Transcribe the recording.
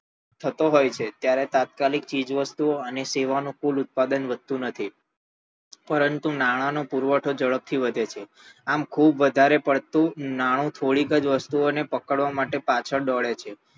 થતો હોઈ છે ત્યારે તાત્કાલીલ ચીજ વસ્તુઓ અને સેવાનાં કુલ ઉત્પાદન વધતું નથી પરંતુ નાણાંનો પુરવઠો ઝડપ થી વધે છે આમ ખુબ વધારે પડતું નાણું થોડીક જ વસ્તુઓ ને પકડવા પાછળ દોડે છે